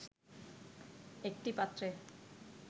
একটি পাত্রে